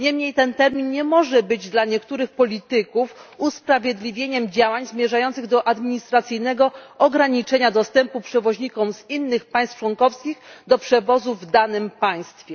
Niemniej jednak ten termin nie może być dla niektórych polityków usprawiedliwieniem działań zmierzających do administracyjnego ograniczenia dostępu przewoźnikom z innych państw członkowskich do przewozu w danym państwie.